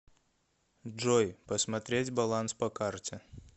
джой посмотреть баланс по карте